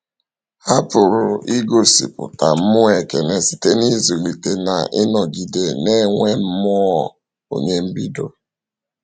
Ha pụrụ igosipụta mmụọ ekele site n’ịzụlite na ịnọgide na-enwe mmụọ onye mbido.